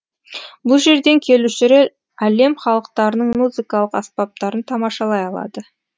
бұл жерден келушілер әлем халықтарының музыкалық аспаптарын тамашалай алады